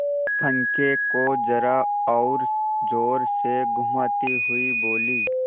पंखे को जरा और जोर से घुमाती हुई बोली